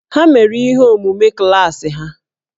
Ha mere ihe omume klaasị ha